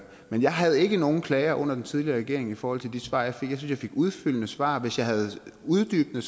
men jeg havde ikke nogen klager under den tidligere regering i forhold til de svar jeg fik jeg fik udfyldende svar og hvis jeg havde uddybende